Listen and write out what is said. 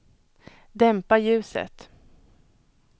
dämpa ljuset